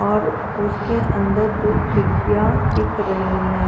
और उसके अंदर दु खिड़किया दिख रही है।